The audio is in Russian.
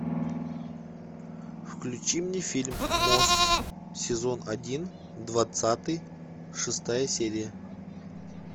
включи мне фильм мост сезон один двадцатый шестая серия